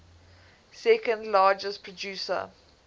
second largest producer